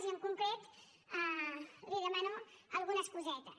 i en concret li demano algunes cosetes